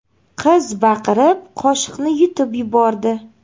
Qiz baqirib qoshiqni yutib yubordi.